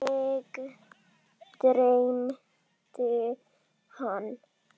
Mig dreymdi hann.